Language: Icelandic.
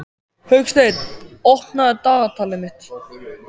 Hauksteinn, opnaðu dagatalið mitt.